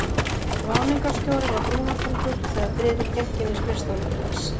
Ráðningarstjóri var brúnaþungur, þegar Friðrik gekk inn í skrifstofuna til hans.